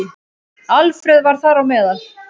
Alfreð var þar á meðal.